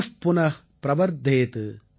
புனபுன ப்ரவர்தேத்